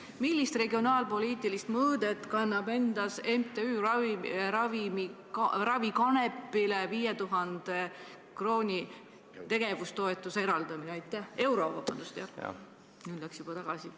Millist regionaalpoliitilist mõõdet kannab endas MTÜ-le Ravikanep tegevustoetusena 5000 euro eraldamine?